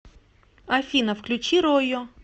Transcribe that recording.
афина включи ройо